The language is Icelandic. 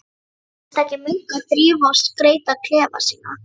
Einstakir munkar þrífa og skreyta klefa sína.